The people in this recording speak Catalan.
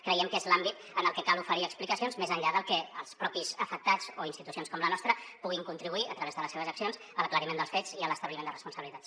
creiem que és l’àmbit en el que cal oferir explicacions més enllà de que els propis afectats o institucions com la nostra puguin contribuir a través de les seves accions a l’aclariment dels fets i a l’establiment de responsabilitats